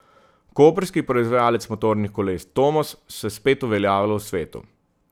Koprski proizvajalec motornih koles Tomos se spet uveljavlja v svetu.